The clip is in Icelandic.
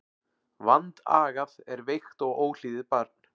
Vandagað er veikt og óhlýðið barn.